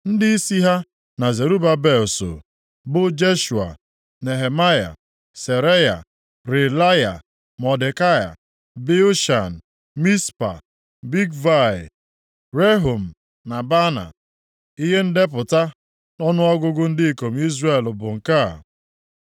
Ndịisi ha na Zerubabel soo, bụ Jeshua, Nehemaya, + 2:2 Nehemaya a na-ekwu ihe banyere ya nʼebe a, abụghị nke dere akwụkwọ Nehemaya Seraya, Reelaya, Mọdekai, Bilshan, Mispa, Bigvai, Rehum na Baana. Ihe ndepụta ọnụọgụgụ ndị ikom Izrel bụ nke a: